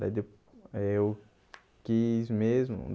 Daí, eu quis mesmo.